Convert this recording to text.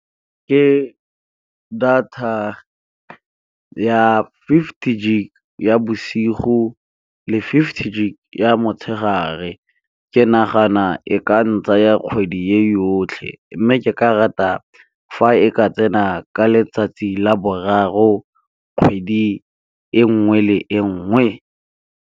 Ke data ya fifty gig ya bosigo le fifty gig ya motshegare, ke nagana e ka ntsaya kgwedi e yotlhe. Mme ke ka rata fa e ka tsena ka letsatsi la boraro kgwedi e nngwe le e nngwe.